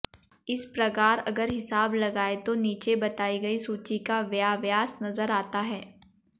इस प्रकार अगर हिसाब लगायें तो नीचे बताई गयी सूची का व्याव्यास नज़र आता है